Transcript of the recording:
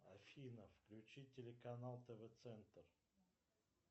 афина включи телеканал тв центр